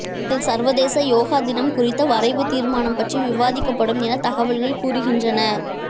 இதில் சர்வதேச யோகா தினம் குறித்த வரைவு தீர்மானம் பற்றி விவாதிக்கப்படும் என தகவல்கள் கூறுகின்றன